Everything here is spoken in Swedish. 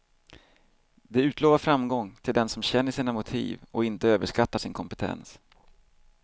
Det utlovar framgång till den som känner sina motiv och inte överskattar sin kompetens.